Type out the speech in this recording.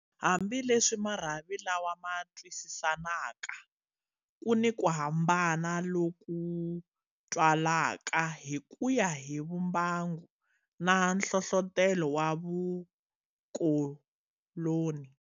Hambi leswi marhavi lawa ma twisisanaka, ku ni ku hambana loku twalaka hi kuya hi vumbangu na nhlohlotelo wa vukoloni.